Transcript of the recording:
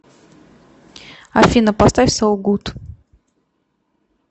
афина поставь соу гуд